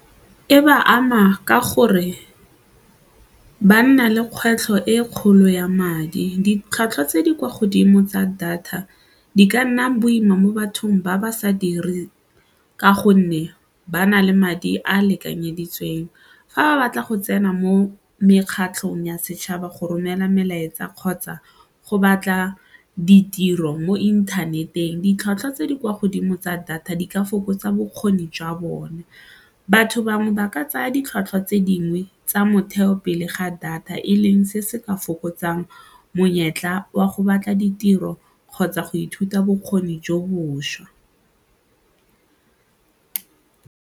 E ba ama ka gore ba nna le kgwetlho e kgolo ya madi, ditlhwatlhwa tse di kwa godimo tsa data di ka nna boima mo bathong ba ba sa direng ka gonne ba na le madi a lekanyeditsweng. Fa ba batla go tsena mo mekgatlhong ya setšhaba go romela melaetsa kgotsa go batla ditiro mo inthaneteng, ditlhwatlhwa tse di kwa godimo tsa data di ka fokotsa bokgoni jwa bone, batho bangwe ba ka tsaya ditlhwatlhwa tse dingwe tsa motheo pele ga data e leng se se ka fokotsang monyetla wa go batla ditiro kgotsa go ithuta bokgoni jo bošwa.